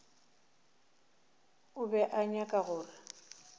o be a nyaka gore